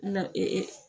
Nka